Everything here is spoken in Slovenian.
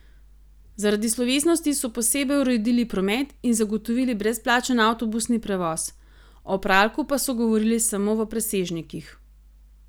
Zaradi slovesnosti so posebej uredili promet in zagotovili brezplačen avtobusni prevoz, o Praljku pa so govorili samo v presežnikih.